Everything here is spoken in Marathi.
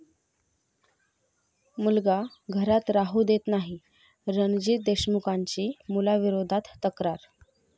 मुलगा घरात राहू देत नाही, रणजीत देशमुखांची मुलाविरोधात तक्रार